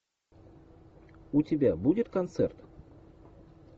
у тебя будет концерт